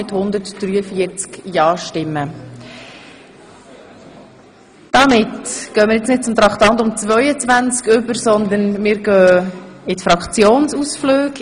Damit kommen wir nun nicht zu Traktandum 22, sondern zu den Fraktionsausflügen.